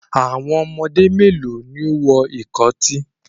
How many children are wearing the earrings